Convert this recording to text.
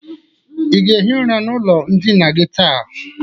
Ị ga-ehi ụra n'ụlọ ndịna gi taa?